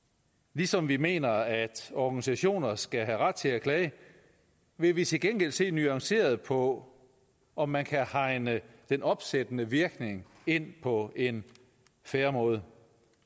ligesom vi mener at organisationer skal have ret til at klage vi vil til gengæld se nuanceret på om man kan hegne den opsættende virkning ind på en fair måde